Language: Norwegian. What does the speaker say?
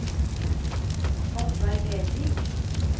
Oddvar Lervik